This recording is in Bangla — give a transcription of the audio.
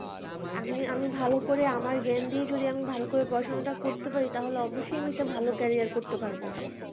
আমি ভালো করে আমার জ্ঞান দিয়ে যদি আমি ভালো করে পড়া-শোনাটা করতে পারি তাহলে অবশ্যই আমি একটা ভালো career করতে পারবো।